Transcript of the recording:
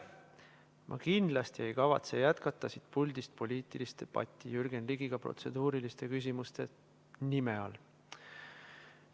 Ma kindlasti ei kavatse jätkata siit puldist poliitilist debatti Jürgen Ligiga protseduuriliste küsimuste nime all.